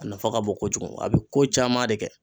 A nafa ka bon kojugu, a be ko caman de kɛ.